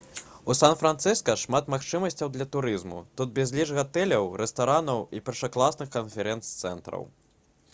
у сан-францыска шмат магчымасцяў для турызму тут безліч гатэляў рэстаранаў і першакласных канферэнц-цэнтраў